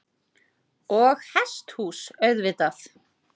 Og hesthús auðvitað.